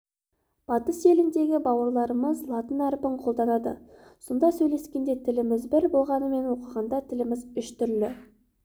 батыс елдеріндегі бауырларымыз латын әрпін қолданады сонда сөйлескенде тіліміз бір болғанымен оқығанда тіліміз үш түрлі